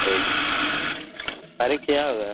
ಹೌದು, ಪರೀಕ್ಷೆ ಯಾವಾಗ?